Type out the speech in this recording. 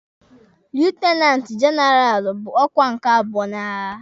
Lietenanti jenaralụ bụ ọkwa nke abụọ n'agha.